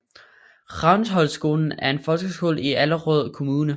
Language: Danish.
Ravnsholtskolen er en folkeskole i Allerød Kommune